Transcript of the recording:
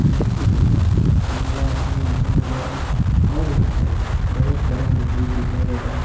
इस चित्र में नीला आसमान दिखाई दे रहा है और यहां पर बहुत बड़ा मस्जिद दिखाई दे रहा है।